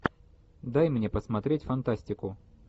дай мне посмотреть фантастику